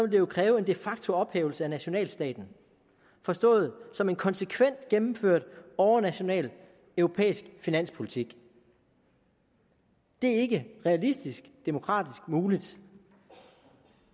det jo kræve en de facto ophævelse af nationalstaten forstået som en konsekvent gennemført overnational europæisk finanspolitik det er ikke realistisk demokratisk muligt